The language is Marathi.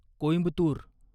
कोईंबतुर